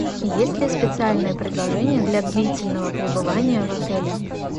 есть ли специальное предложение для длительного пребывания в отеле